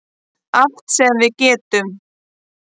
Allt sem við getum.